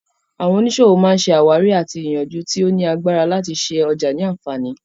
Àwọn oníṣòwò má ṣe àwárí àti ìyànjú tí ó ní agbára láti ṣe ọjà ní àǹfààní